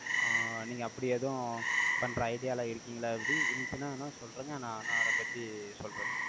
ஆஹ் நீங்க, அப்படி எதுவும், பண்ற idea ல இருக்கீங்களா எப்படி? இருந்துச்சின்னா நான் சொல்றேங்க. நான், நான் அதைப் பத்தி சொல்றேன்.